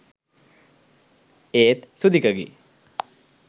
ඒත් සුදිකගේ